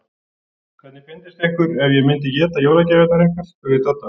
Hvernig fyndist ykkur ef ég myndi éta jólagjafirnar ykkar? spurði Dadda.